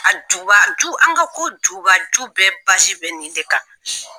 A jubaju, an ka ko jubaju bɛɛ bazi bɛ nin de kan.